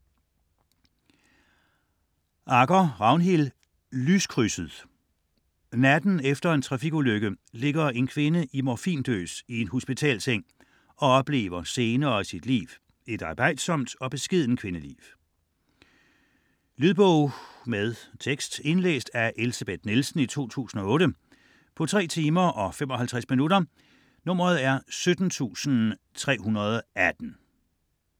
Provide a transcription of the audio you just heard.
Agger, Ragnhild: Lyskrydset Natten efter en trafikulykke ligger en kvinde i morfindøs i en hospitalsseng og oplever scener af sit liv, et arbejdsomt og beskedent kvindeliv. Lydbog med tekst 17318 Indlæst af Elsebeth Nielsen, 2008. Spilletid: 3 timer, 55 minutter.